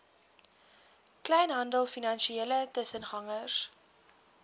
kleinhandel finansiële tussengangers